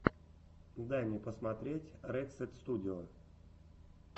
дай мне посмотреть рексет студио